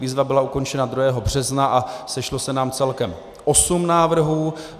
Výzva byla ukončena 2. března a sešlo se nám celkem 8 návrhů.